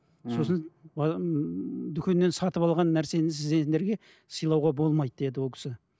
сосын дүкеннен сатып алған нәрсені сіз сендерге сыйлауға болмайды деді ол кісі